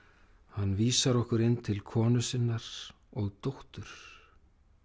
hann vísar okkur inn til konu sinnar og dóttur